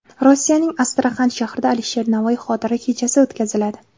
Rossiyaning Astraxan shahrida Alisher Navoiy xotira kechasi o‘tkaziladi.